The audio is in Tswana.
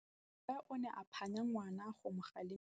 Rre o ne a phanya ngwana go mo galemela.